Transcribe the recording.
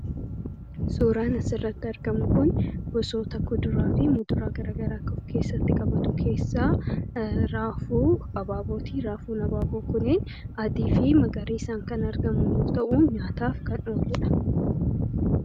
Suuraan asirratti argamu kun gosa kuduraa fi muduraa gara garaa of kessa qabatu kessa raafuu abaabooti raafuun abaaboo kuneen adii fi magariisaa isaan kan argamu yoo ta'u nyaataaf kan oluu dha.